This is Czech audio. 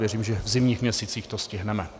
Věřím, že v zimních měsících to stihneme.